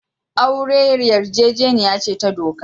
Aure yarjejeniya ce ta doka.